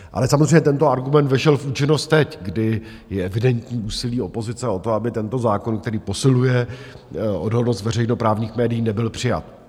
Ale samozřejmě tento argument vešel v účinnost teď, kdy je evidentní úsilí opozice o to, aby tento zákon, který posiluje odolnost veřejnoprávních médií, nebyl přijat.